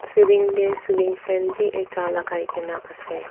serine teh cealing fan bhi ekta lagai ke na ase.